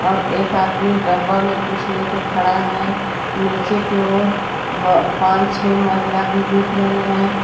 और एक आदमी डब्बा में कुछ लेकर खड़ा है नीचे के और पांच छह महिला भी दिख रही है।